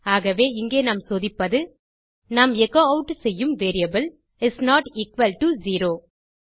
ஆகவே இங்கே நாம் சோதிப்பது நாம் எச்சோ ஆட் செய்யும் variable is not equal to zero